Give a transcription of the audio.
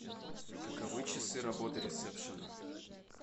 каковы часы работы ресепшена